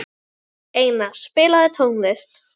Einar, spilaðu tónlist.